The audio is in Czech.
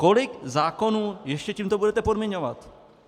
Kolik zákonů ještě tímto budete podmiňovat?